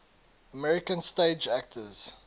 american stage actors